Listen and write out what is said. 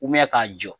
k'a jɔ